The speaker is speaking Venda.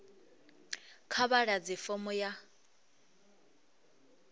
kha vha ḓadze fomo ya